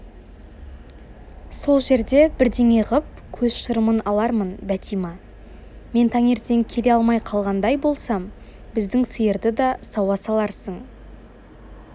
сол жерде бірдеңе ғып көз шырымын алармын бәтима мен таңертең келе алмай қалғандай болсам біздің сиырды да сауа саларсың